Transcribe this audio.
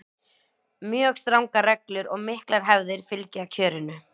mjög strangar reglur og miklar hefðir fylgja kjörinu